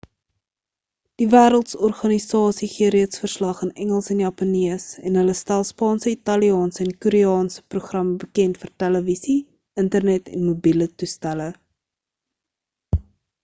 die wêreldorganisasie gee reeds verslag in engels en japannees en hulle stel spaanse italiaanse en koreaanse programme bekend vir televisie internet en mobiele toestelle